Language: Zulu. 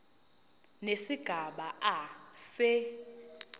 nesigaba a se